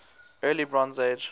early bronze age